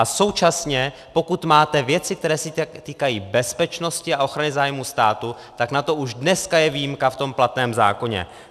A současně pokud máte věci, které se týkají bezpečnosti a ochrany zájmu státu, tak na to už dneska je výjimka v tom platném zákoně.